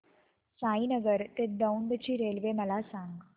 साईनगर ते दौंड ची रेल्वे मला सांग